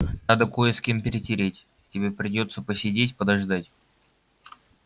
надо кое с кем перетереть тебе придётся посидеть подождать